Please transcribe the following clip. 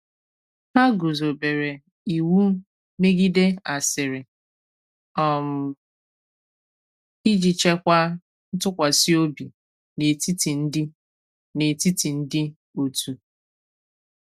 Hà guzòbere iwu megìdè asịrị um iji chèkwàa ntụkwàsị ọ̀bị n’etìti ndị n’etìti ndị òtù.